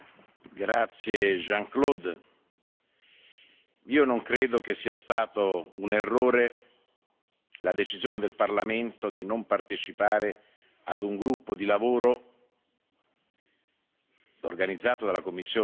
Non credo che sia stata un errore la decisione del Parlamento di non partecipare ad un gruppo di lavoro organizzato dalla Commissione europea dove tre deputati sarebbero stati parte,